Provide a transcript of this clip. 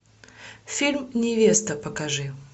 фильм невеста покажи